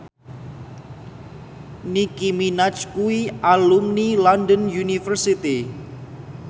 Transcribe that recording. Nicky Minaj kuwi alumni London University